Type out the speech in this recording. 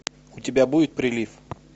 у тебя будет прилив